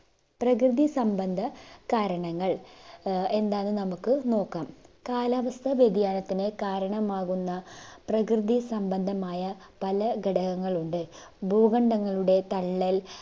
പ്രകൃതിസംബന്ധ കാരണങ്ങൾ ആഹ് എന്താന്ന് നമുക്ക് നോക്കാം കാലാവസ്ഥ വ്യതിയാനത്തിന് കാരണമാകുന്ന പ്രകൃതി സംബന്ധമായ പല ഘടകങ്ങളുണ്ട് ഭൂകണ്ഡങ്ങളുടെ തള്ളൽ